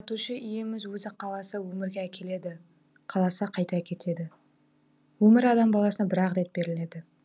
жаратушы иеміз өзі қаласа өмірге әкеледі қаласа қайта әкетеді өмір адам баласына бір ақ рет беріледі